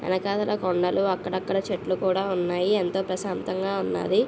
వెనకాతల కొండలు అక్కడ అక్కడ చెట్లు కూడా ఉన్నాయి. ఎంతో ప్రశాంతంగా ఉన్నాది.